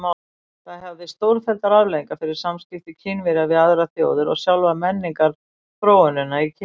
Það hafði stórfelldar afleiðingar fyrir samskipti Kínverja við aðrar þjóðir og sjálfa menningarþróunina í Kína.